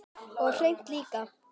Og hreint líka!